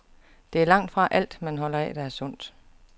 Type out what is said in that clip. Det er langtfra alt, man holder af, der er sundt.